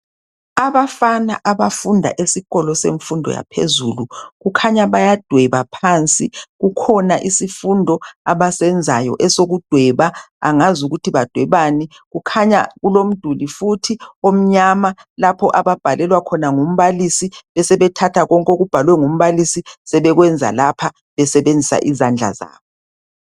abafana abafunda esikolo semfundo yaphezulu kukhanya bayadweba phansi sikhona isifundo abasenzayo esokudweba angazi ukuthi badwebani khanya kulomduli futhi omnyama lapha ababhalelwa khona ngumbalisi besebethatha konke oubhalwe ngumbalisi sebekwenza lapha besebenzisa izandla zabo